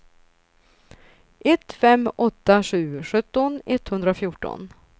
ett fem åtta sju sjutton etthundrafjorton